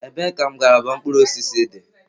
Ebee ka ngalaba mkpụrụ osisi dị?